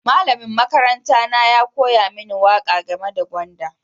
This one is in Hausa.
Malamin makaranta na ya koya mini waƙa game da gwanda.